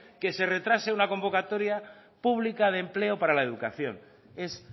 que se retrase una convocatorio pública de empleo para la educación es